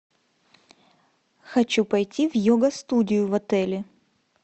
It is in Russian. хочу пойти в йога студию в отеле